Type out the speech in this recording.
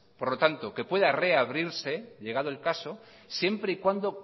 por lo tanto que pueda reabrirse llegado el caso siempre y cuando